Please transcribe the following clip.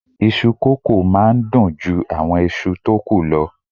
Iṣu kókò máa n dun ju àwọn ìṣù tó ku lọ